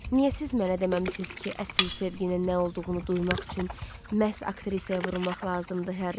Niyə siz mənə deməmisiz ki, əsil sevginin nə olduğunu duymaq üçün məhz aktrisaya vurulmaq lazımdır Harry?